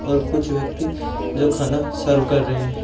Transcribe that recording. और कुछ व्यक्ति जो खाना सर्व कर रहे हैं।